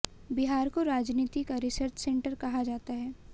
बिहार को राजनीति का रिसर्च सेंटर कहा जाता है